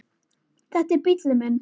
Þetta er bíllinn minn